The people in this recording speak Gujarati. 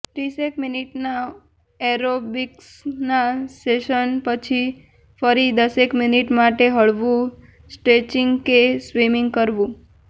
ત્રીસેક મિનિટના એરોબિક્સના સેશન પછી ફરી દસેક મિનિટ માટે હળવું સ્ટ્રેચિંગ કે સ્વિમિંગ કરવું